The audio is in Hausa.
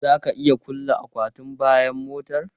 Za ka iya kulle akwatin bayan motar?